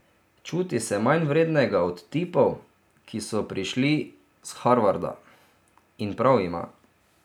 Čuti se manjvrednega od tipov, ki so prišli s Harvarda, in prav ima.